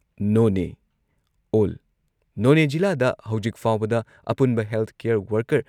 ꯅꯣꯅꯦ ꯑꯣꯜ ꯅꯣꯅꯦ ꯖꯤꯂꯥꯗ ꯍꯧꯖꯤꯛ ꯐꯥꯎꯕꯗ ꯑꯄꯨꯟꯕ ꯍꯦꯜꯊ ꯀꯦꯌꯥꯔ ꯋꯥꯔꯀꯔ